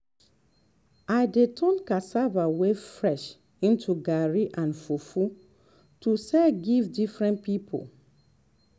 i dey turn cassava wey fresh into garri and fufu to sell give different people